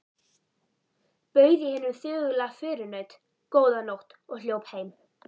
Bauð ég hinum þögula förunaut: Góða nótt og hljóp heim.